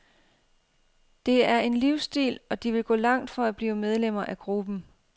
Det er en livsstil, og de vil gå langt for at blive medlemmer af gruppen.